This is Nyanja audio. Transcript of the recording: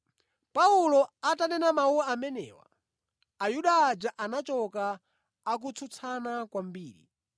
Paulo atanena mawu amenewa, Ayuda aja anachoka akutsutsana kwambiri.